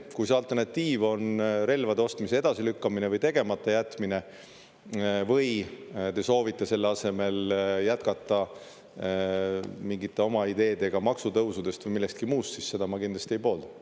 Kui see alternatiiv on relvade ostmise edasilükkamine või tegematajätmine või te soovite selle asemel jätkata mingite oma ideedega maksutõusudest või millestki muust, siis seda ma kindlasti ei poolda.